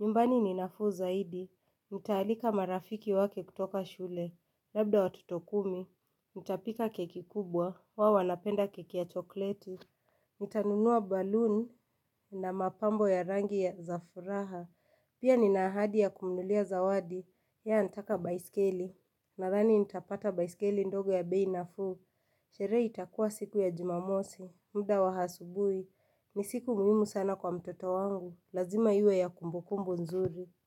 Nyumbani ninafuu zaidi, nitaalika marafiki wake kutoka shule. Labda watoto kumi, nitapika keki kubwa, wao napenda keki ya chokleti. Nitanunua baloon na mapambo ya rangi ya za furaha. Pia ninaahadi ya kumnunulia zawadi, yeye anataka baiskeli. Nadhani nitapata baiskeli ndogo ya bei nafuu, sherehe itakuwa siku ya jumamosi, muda wa asubuhi, ni siku muhimu sana kwa mtoto wangu, lazima iwe ya kumbukumbu nzuri.